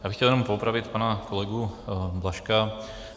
Já bych chtěl jenom poopravit pana kolegu Blažka.